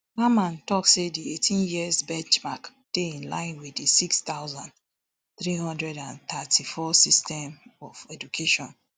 mamman tok say di eighteen years benchmark dey in line wit di six thousand, three hundred and thirty-four system of education